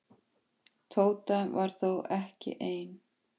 Tóta var þó ekki ein.